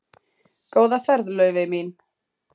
Góða ferð, Laufey mín.